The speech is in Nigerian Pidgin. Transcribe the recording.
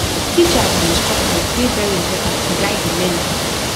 teachers and instructors dey very important to guide di learner